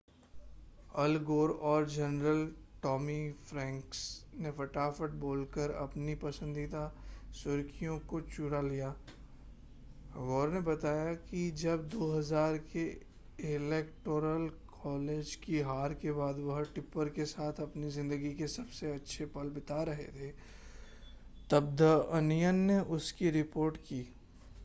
अल Gore और general Tommy Franks ने फटाफट बोलकर अपनी पसंदीदा सुर्खियों को चुरा लिया गोर ने बताया कि जब 2000 के इलेक्टोरल कॉलेज की हार के बाद वह टिप्पर के साथ अपनी ज़िंदगी के सबसे अच्छे पल बिता रहे थे तब द अनियन ने उसकी रिपोर्ट की